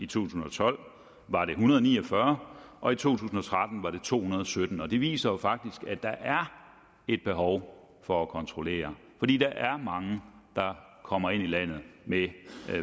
tusind og tolv var det en hundrede og ni og fyrre og i to tusind og tretten var det to hundrede og sytten det viser jo faktisk at der er et behov for at kontrollere fordi der er mange der kommer ind i landet med